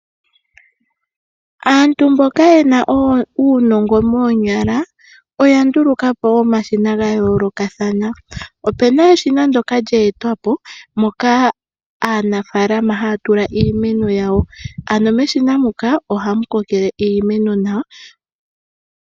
Aantu mboka yena uunongo moonyala oya ndulukapo omashina gayoolokathana, opena eshina lyoka lyeetwa po moka aanafaalama haya tula iimeno yawo, ano meshina muka ohamu kokele iimeno nawa.